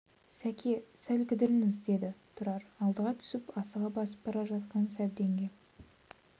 сәке сәл кідіріңіз деді тұрар алдыға түсіп асыға басып бара жатқан сәбденге